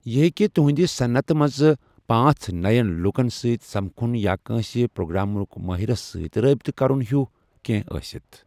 یہِ ہٮ۪کہِ تُہنٛدِ صنعتہِ منٛز پانژھ نٔٮ۪ن لوٗکَن سۭتۍ سمکھُن یا کٲنٛسہِ پروگرامنگ مٲہرَس سۭتۍ رابطہٕ کرُن ہیوٗو کینٛہہ ٲسِتھ ۔